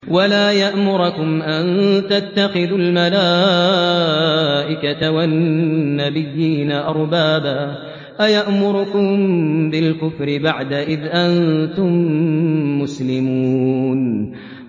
وَلَا يَأْمُرَكُمْ أَن تَتَّخِذُوا الْمَلَائِكَةَ وَالنَّبِيِّينَ أَرْبَابًا ۗ أَيَأْمُرُكُم بِالْكُفْرِ بَعْدَ إِذْ أَنتُم مُّسْلِمُونَ